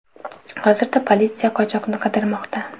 Hozirda politsiya qochoqni qidirmoqda.